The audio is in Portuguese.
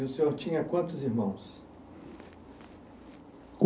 E o senhor tinha quantos irmãos?